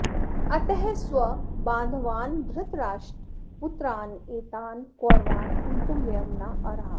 अतः स्वबान्धवान् धृतराष्ट्रपुत्रान् एतान् कौरवान् हन्तुं वयं न अर्हाः